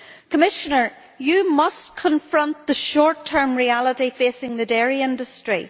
Commissioner, you must confront the short term reality facing the dairy industry.